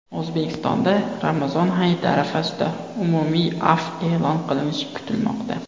O‘zbekistonda Ramazon hayiti arafasida umumiy afv e’lon qilinishi kutilmoqda.